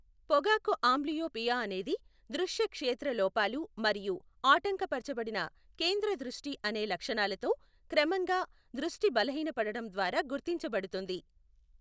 పొగాకు ఆంబ్లియోపియా అనేది దృశ్య క్షేత్ర లోపాలు మరియు ఆటంక పరచబడిన కేంద్ర దృష్టి అనే లక్షణాలతో క్రమంగా దృష్టి బలహీనపడటం ద్వారా గుర్తించబడుతుంది.